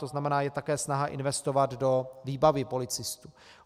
To znamená, je také snaha investovat do výbavy policistů.